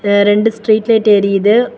ரெண்டு street light எரியுது.